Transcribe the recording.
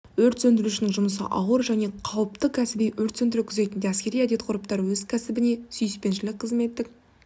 өрт сөндірушінің жұмысы ауыр және қауіпті кәсіби өрт сөндіру күзетінде әскери әдет-ғұрыптар өз кәсібіне сүйіспеншілік қызметтік